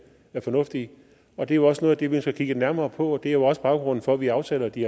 fornuftige og det er jo også noget af det vi skal kigge nærmere på og det er jo også baggrunden for at vi afsætter de